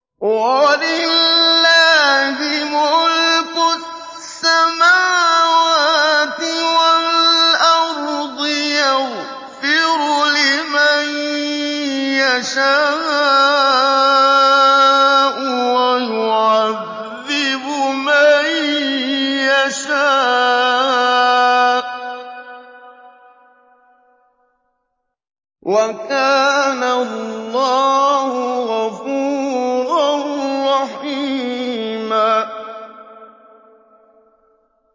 وَلِلَّهِ مُلْكُ السَّمَاوَاتِ وَالْأَرْضِ ۚ يَغْفِرُ لِمَن يَشَاءُ وَيُعَذِّبُ مَن يَشَاءُ ۚ وَكَانَ اللَّهُ غَفُورًا رَّحِيمًا